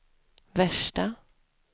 värsta